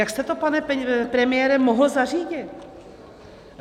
Jak jste to, pane premiére, mohl zařídit?